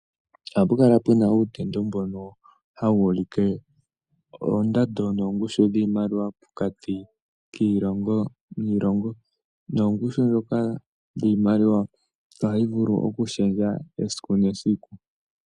Ohapukala puna utendo mbono hawulike oondando noongushu dhimaliwa pokati kiilongo niilongo, noongushu dhoka dhimaliwa ohayi vulu okushendja esiku nesiku.